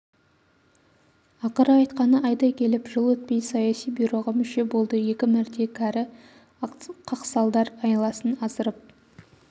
ақыры айтқаны айдай келіп жыл өтпей саяси бюроға мүше болды екі мәрте кәрі қақсалдар айласын асырып